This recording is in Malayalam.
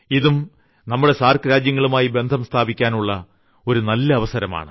ഇതും നമ്മുടെ സാർക്ക് രാജ്യങ്ങളുമായി ബന്ധം സ്ഥാപിക്കാനുള്ള ഒരു നല്ല അവസരമാണ്